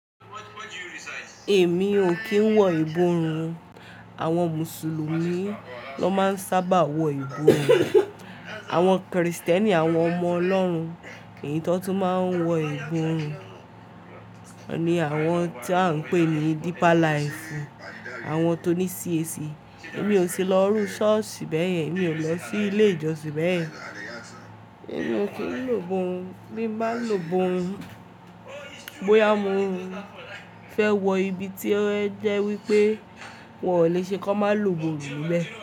Èmi ò kí ń wọ ìbòrun. Àwọn Mùsùlùmí ló máa ń sábà wọ ìbòrun. Àwọn Krìstẹ́nì àwọn ọmọ Ọlọ́run ko tọ́ ko tún máa ń wọ ìbòrun. Ni àwọn tí à ń pè ní deep life, àwọn tó ní CAC, èmi ò ti lọ rú ṣọ́ọ̀ṣì bẹ́ẹ̀yẹn, èmi ò lọ sí ilé ìjọsìn bẹ́ẹ̀yẹn. Èmi ò kí ń lò iborun, bí máa ń lò iborun, bóyá mo fẹ́ wọ ibi tí ó jẹ́ wípé wọn ò lè ṣe kó máa lò iborun níbẹ̀